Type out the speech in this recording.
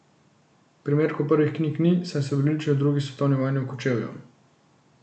Primerkov prvih knjig ni, saj so bili uničeni v drugi svetovni vojni v Kočevju.